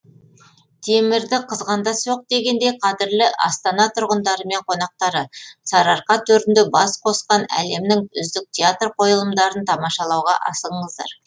темірді қызғанда соқ дегендей қадірлі астана тұрғындары мен қонақтары сарыарқа төрінде бас қосқан әлемнің үздік театр қойылымдарын тамашалауға асығыңыздар